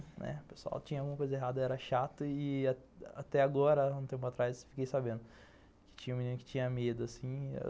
O pessoal tinha alguma coisa errada, era chato e até agora, um tempo atrás, fiquei sabendo que tinha um menino que tinha medo, assim.